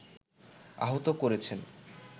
আহত করেছেন